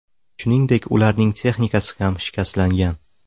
Shuningdek, ularning texnikasi ham shikastlangan.